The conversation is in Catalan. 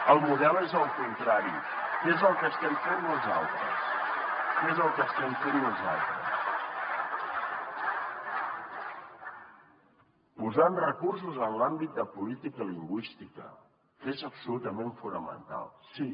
el model és el contrari que és el que estem fent nosaltres que és el que estem fent nosaltres posant recursos en l’àmbit de política lingüística que és absolutament fonamental sí